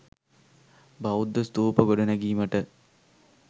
බෞද්ධ ස්තූප ගොඩනැගීමට